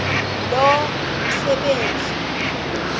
lo msebenzi mkhulu